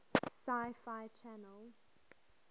sci fi channel